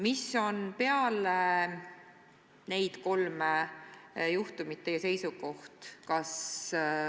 Mis on peale neid kolme juhtumit teie seisukoht?